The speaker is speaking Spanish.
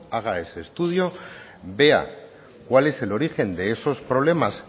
haga ese estudio vea cuál es el origen de esos problemas